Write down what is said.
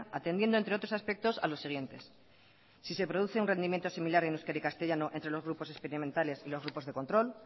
atendiendo entre otros aspectos a los siguientes si se produce un rendimiento similar en euskera y castellano entre los grupos experimentales y los grupos de control